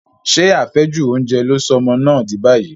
Ṣé àfẹ́jù oúnjẹ ló sọ ọmọ náà dì báyìí?